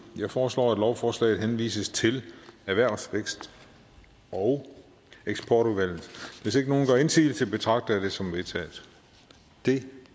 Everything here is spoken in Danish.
jeg foreslår at lovforslaget henvises til erhvervs vækst og eksportudvalget hvis ingen gør indsigelse betragter jeg det som vedtaget det